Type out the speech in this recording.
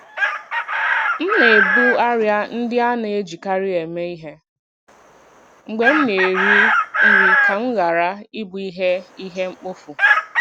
M na-ebu arịa ndị a na-ejikarị eme ihe mgbe m na-eri nri ka m ghara ị bụ ihe ihe mkpofu.